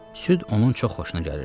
Süd onun çox xoşuna gəlirdi.